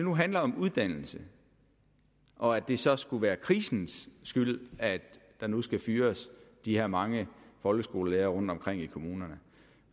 nu handler om uddannelse og at det så skulle være krisens skyld at der nu skal fyres de her mange folkeskolelærere rundtomkring i kommunerne